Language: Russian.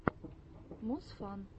мусфан